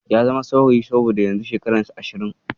Ya zama saurayi saboda yanzu shekararsa Ashirin.